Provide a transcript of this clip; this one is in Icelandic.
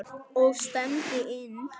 Og stefndi inn